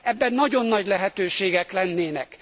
Ebben nagyon nagy lehetőségek lennének.